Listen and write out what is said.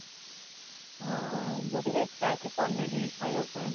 ହଁ ମତେ ବି ଇଛା ଅଛି ପନୀର ଖାଇବା ପାଇଁ